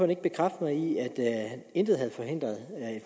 ikke bekræfte at intet havde forhindret